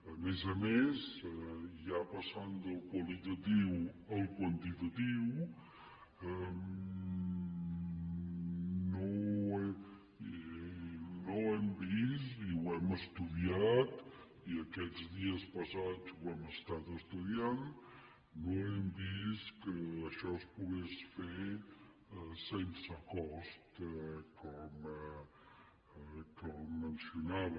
a més a més ja passant del qualitatiu al quantitatiu no hem vist i ho hem estudiat i aquests dies passats ho hem estat estudiant que això es pogués fer sense cost com mencionava